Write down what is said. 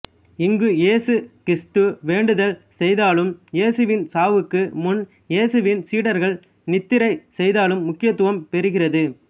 இங்கு இயேசு கிறித்து வேண்டுதல் செய்ததாலும் இயேசுவின் சாவுக்கு முன் இயேசுவின் சீடர்கள் நித்திரை செய்ததாலும் முக்கியத்துவம் பெறுகிறது